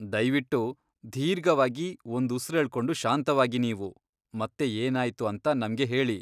ದಯ್ವಿಟ್ಟು ದೀರ್ಘವಾಗಿ ಒಂದ್ ಉಸ್ರೆಳ್ಕೊಂಡು ಶಾಂತವಾಗಿ ನೀವು, ಮತ್ತೆ ಏನಾಯ್ತು ಅಂತ ನಮ್ಗೆ ಹೇಳಿ.